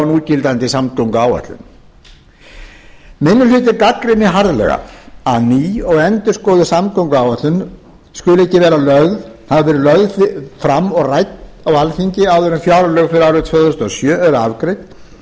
núgildandi samgönguáætlun minni hlutinn gagnrýnir harðlega að ný og endurskoðuð samgönguáætlun skuli ekki hafa verið lögð fram og rædd á alþingi áður en fjárlög fyrir árið tvö þúsund og sjö eru afgreidd eða